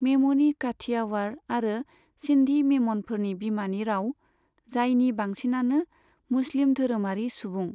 मेम'नी काठियावाड़ आरो सिन्धी मेम'नफोरनि बिमानि राव, जायनि बांसिनानो मुस्लिम धोरोमारि सुबुं।